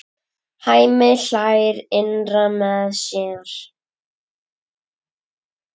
Hemmi hlær innra með sér.